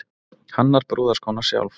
Hannar brúðarskóna sjálf